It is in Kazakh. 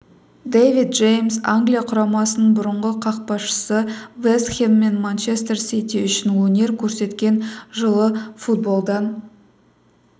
дэвид джеймс англия құрамасының бұрынғы қақпашысы вест хэм мен манчестер сити үшін өнер көрсеткен жылы футболдан